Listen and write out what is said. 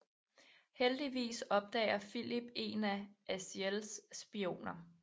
Heldigvis opdager Filip en af Aziels spioner